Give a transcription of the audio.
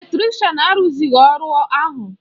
Eletrịshan arụzịghị ọrụ ahụ